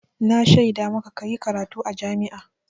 Na shaida maka ka yi karatu a jami'a.